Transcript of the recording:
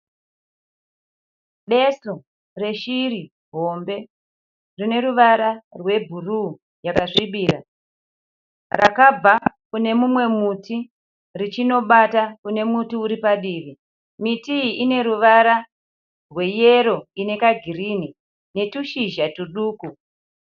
Besu reshiri hombe rine ruvara rwebhuruu yakasvibira. Rakabva kune mumwe muti richinobata kune muti uri padivi. Miti iyi ine ruvara rweyero ine kagirini netushizha tuduku.